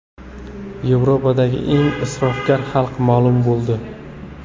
Yevropadagi eng isrofgar xalq ma’lum bo‘ldi.